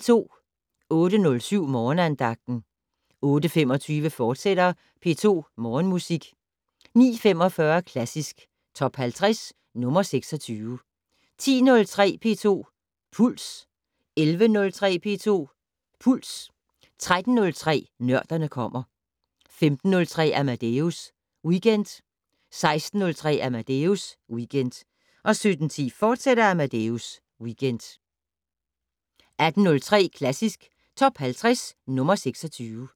08:07: Morgenandagten 08:25: P2 Morgenmusik, fortsat 09:45: Klassisk Top 50 - nr. 26 10:03: P2 Puls 11:03: P2 Puls 13:03: Nørderne kommer 15:03: Amadeus Weekend 16:03: Amadeus Weekend 17:10: Amadeus Weekend, fortsat 18:03: Klassisk Top 50 - nr. 26